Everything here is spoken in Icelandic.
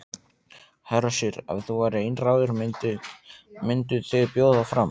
Hersir: Ef þú værir einráður, mynduð þið bjóða fram?